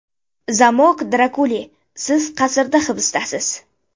Zamok Drakuli Siz qasrda hibisdasiz.